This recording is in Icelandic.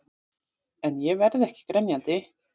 En ég verð ekki grenjandi.